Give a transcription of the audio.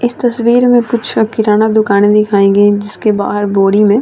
इस तस्वीर में कुछ किनारा दुकाने दिखाई गयी जिसके बाहर बोरी में --